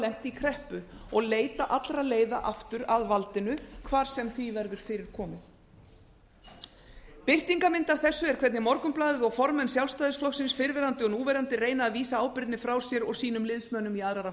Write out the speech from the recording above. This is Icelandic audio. lent í kreppu og leita allra leiða aftur að valdinu hvar sem því verður fyrir komið birtingarmynd af þessu er hvernig morgunblaðið og formenn sjálfstæðisflokksins fyrrverandi og núverandi reyna að vísa ábyrgðinni frá sér og sínum liðsmönnum í